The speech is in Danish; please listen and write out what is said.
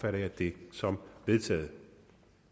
jeg det som vedtaget